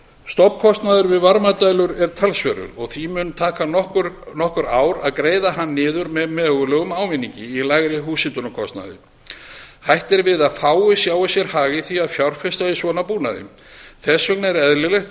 stofnkostnaður við varmadælur er talsverður og því mun taka nokkur ár að greiða hann niður með mögulegum ávinningi í lægri húshitunarkostnaði hætt er við að fáir sjái sér hag í því að fjárfesta í svona búnaði þess vegna er eðlilegt